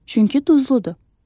Çünki duzludur.